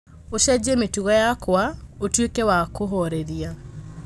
ũcenjie mĩtugo yakwa ũtuĩke wa kũhooreria